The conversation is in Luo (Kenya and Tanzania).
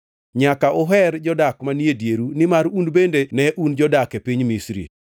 Nyaka uher jodak manie dieru nimar un bende ne un jodak e piny Misri.